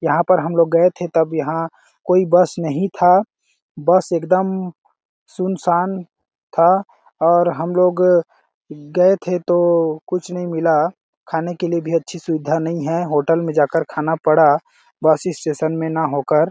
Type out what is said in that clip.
यहाँ पर हम लोग गए थे तब यहाँ कोई बस नहीं था बस एकदम सुनसान था और हम लोग गए थे तो कुछ नहीं मिला खाने के लिए अच्छी सुविधा नहीं है होटल में जा के खाना पड़ा बस स्टेशन न हो कर--